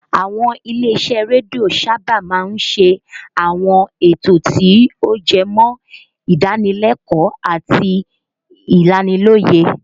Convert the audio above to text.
Àwọn ilé-isẹ́ rédíò sábà máa ń ṣe àwọn ètò tí ó jẹmọ́ ìdánilẹ́kọ̀ọ́ àti ìlanilọ́yẹ̀